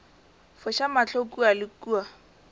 foša mahlo kua le kua